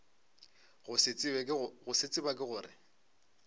go se tseba ke gore